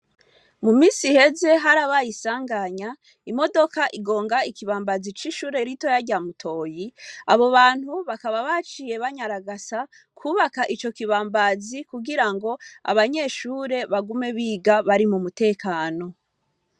Mu misi heze hari abayisanganya imodoka igonga ikibambazi c'ishure rito yaryamutoyi abo bantu bakaba baciye banyaragasa kubaka ico kibambazi kugira ngo abanyeshure bagume biga bari mu mutekano.